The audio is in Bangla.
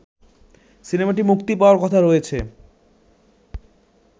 সিনেমাটি মুক্তি পাওয়ার কথা রয়েছে